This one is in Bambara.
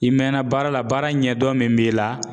I mɛɛnna baara la baara in ɲɛdɔn min b'i la